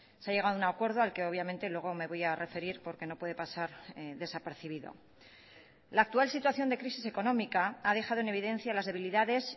se ha llegado a un acuerdo al que obviamente luego me voy a referir porque no puede pasar desapercibido la actual situación de crisis económica ha dejado en evidencia las debilidades